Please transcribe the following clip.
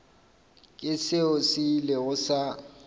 ke seo se ilego sa